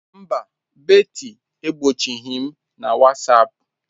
Mba, Betty egbochighị m na Whatsapp.